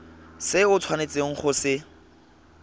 se o tshwanetseng go se